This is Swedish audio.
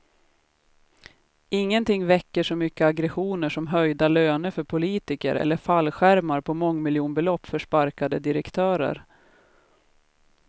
Ingenting väcker så mycket aggressioner som höjda löner för politiker eller fallskärmar på mångmiljonbelopp för sparkade direktörer.